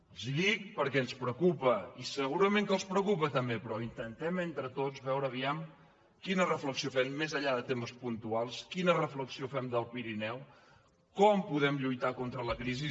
els ho dic perquè ens preocupa i segurament que els preocupa també però intentem entre tots veure quina reflexió fem més enllà de temes puntuals quina reflexió fem del pirineu com podem lluitar contra la crisi